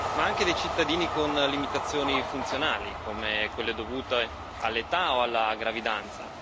ma anche dei cittadini con limitazioni funzionali, come quelle dovute all'età o alla gravidanza.